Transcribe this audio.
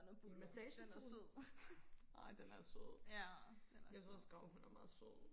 en massagestol ej den er sød jeg synes også gravhunde er meget søde